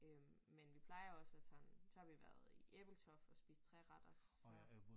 Øh men vi plejer også at sådan så har vi været i Ebeltoft og spise treretters så